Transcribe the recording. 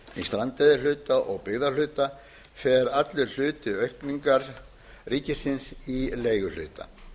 strandveiðihluta og byggðahluta fer allur hluti aukningar ríkisins í leiguhluta